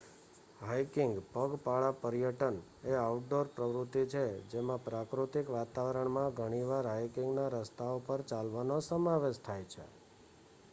hiking પગપાલા પર્યટન એ આઉટડોર પ્રવૃત્તિ છે જેમાં પ્રાકૃતિક વાતાવરણમાં ઘણીવાર હાઇકિંગના રસ્તાઓ પર ચાલવાનો સમાવેશ થાય છે